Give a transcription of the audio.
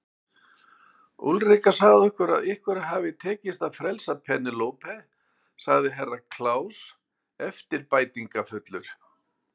Úlrika sagði okkur að ykkur hafi tekist að frelsa Penélope, sagði Herra Kláus eftirbæntingafullur.